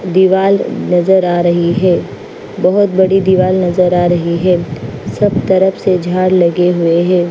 दीवाल नजर आ रही है बहोत बड़ी दीवाल नजर आ रही है सब तरफ से झाड़ लगे हुए है।